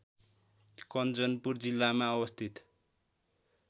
कञ्चनपुर जिल्लामा अवस्थित